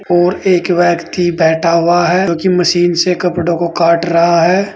और एक व्यक्ति बैठा हुआ है जो कि मशीन से कपड़ों को काट रहा है।